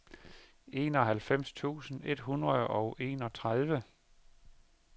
enoghalvfems tusind et hundrede og enogtredive